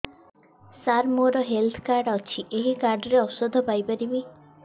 ସାର ମୋର health card ଅଛି ଏହି କାର୍ଡ ରେ ଔଷଧ ପାଇପାରିବି